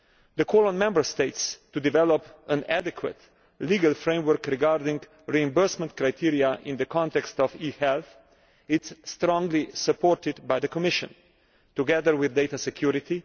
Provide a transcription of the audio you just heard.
The call on Member States to develop an adequate legal framework regarding reimbursement criteria in the context of e health is strongly supported by the Commission, together with data security.